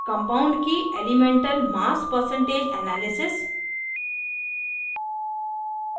compound की elemental mass percentage analysis analysis